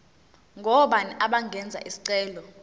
ngobani abangenza isicelo